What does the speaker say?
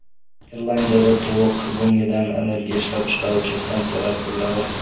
Irlandiyada tovuq go‘ngidan energiya ishlab chiqaruvchi stansiyalar quriladi.